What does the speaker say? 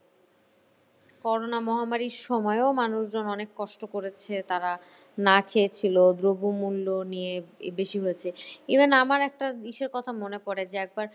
corona মহামারীর সময়ও মানুষজন অনেক কষ্ট করেছে তারা না খেয়ে ছিল দ্রব্যমূল্য নিয়ে বেশি হয়েছে even আমার একটা ইসের কথা মনে পড়ে যে একবার